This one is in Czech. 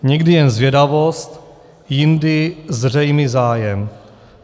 Někdy jen zvědavost, jindy zřejmý zájem.